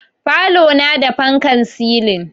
Falona na da fankan silin